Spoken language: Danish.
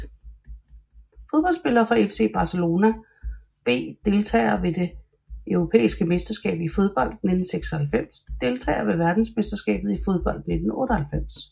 Fodboldspillere fra FC Barcelona B Deltagere ved det europæiske mesterskab i fodbold 1996 Deltagere ved verdensmesterskabet i fodbold 1998